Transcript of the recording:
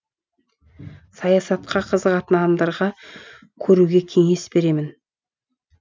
саясатқа қызығатын адамдарға көруге кеңес беремін